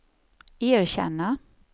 erkänna